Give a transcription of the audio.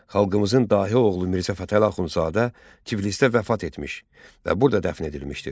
Xalqımızın dahi oğlu Mirzə Fətəli Axundzadə Tiflisdə vəfat etmiş və burada dəfn edilmişdir.